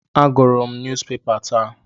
Agụrụ m nyuuzpepa ụnyaahụ.